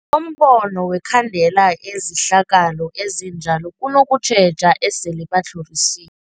kombono wokhandela izehlakalo ezinjalo kunokutjheja esele batlhorisiwe.